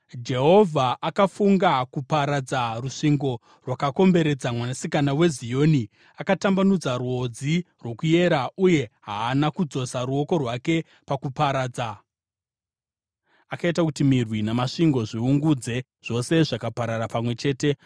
Jehovha akafunga kuparadza rusvingo rwakakomberedza Mwanasikana weZioni. Akatambanudza rwodzi rwokuyera uye haana kudzosa ruoko rwake pakuparadza. Akaita kuti mirwi namasvingo zviungudze; zvose zvakaparara pamwe chete.